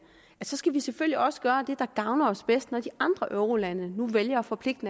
at så skal vi selvfølgelig også gøre det der gavner os mest når de andre eurolande nu vælger at forpligte